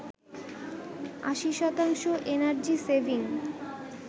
৮০ শতাংশ energy saving